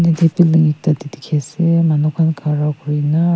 etu pillar ekta dekhi ase manu khara kori kina.